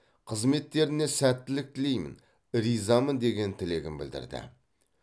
қызметтеріне сәттілік тілеймін ризамын деген тілегін білдірді